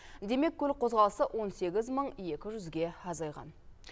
демек көлік қозғалысы он сегіз мың екі жүзге азайған